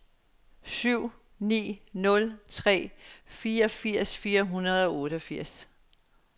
ni syv nul tre fireogfirs fire hundrede og otteogfirs